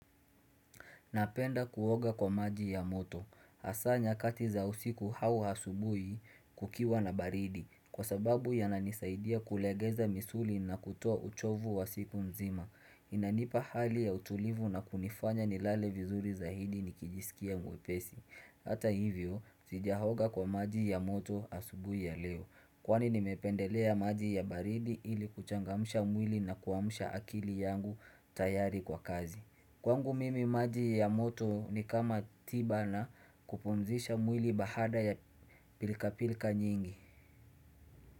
Napenda kuoga kwa maji ya moto. Hasa nyakati za usiku au asubui kukiwa na baridi. Kwa sababu yananisaidia kulegeza misuli na kutoa uchovu wa siku mzima. Inanipa hali ya utulivu na kunifanya nilale vizuri zaidi nikijisikia mwepesi. Hata hivyo, zijaoga kwa maji ya moto asubuhi ya leo. Kwani nimependelea maji ya baridi ili kuchangamsha mwili na kuamusha akili yangu tayari kwa kazi. Kwangu mimi maji ya moto ni kama tiba na kupumzisha mwili baada ya pilka pilka nyingi.